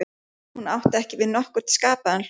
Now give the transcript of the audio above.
Hún átti ekki við nokkurn skapaðan hlut.